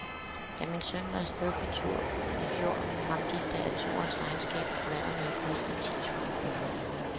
Da min søn var af sted på tur i fjor, fremgik det af turens regnskab, at maden havde kostet ti tusind kroner.